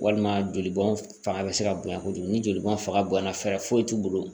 Walima joli bɔn fanga be se ka bonya kojugu ni jolibɔn faga bonya na fɛɛrɛ foyi t'u bolo